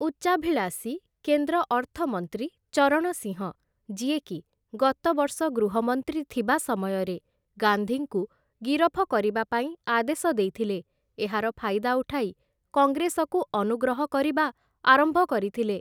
ଉଚ୍ଚାଭିଳାଷୀ କେନ୍ଦ୍ର ଅର୍ଥମନ୍ତ୍ରୀ ଚରଣ ସିଂହ, ଯିଏକି ଗତ ବର୍ଷ ଗୃହମନ୍ତ୍ରୀ ଥିବା ସମୟରେ ଗାନ୍ଧୀଙ୍କୁ ଗିରଫ କରିବା ପାଇଁ ଆଦେଶ ଦେଇଥିଲେ, ଏହାର ଫାଇଦା ଉଠାଇ କଂଗ୍ରେସକୁ ଅନୁଗ୍ରହ କରିବା ଆରମ୍ଭ କରିଥିଲେ ।